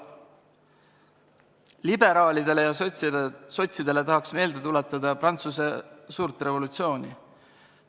Liberaalidele ja sotsidele tahaks meelde tuletada suurt Prantsuse revolutsiooni.